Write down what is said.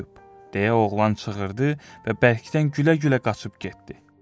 deyə oğlan çığırdı və bərkdən gülə-gülə qaçıb getdi.